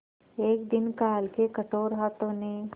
एक दिन काल के कठोर हाथों ने